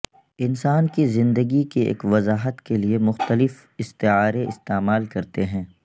انسان کی زندگی کی ایک وضاحت کے لئے مختلف استعارے استعمال کرتے ہیں